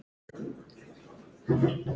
Þeir URÐU að selja.